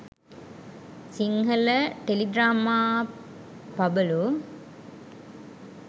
sinhala teledrama pabalu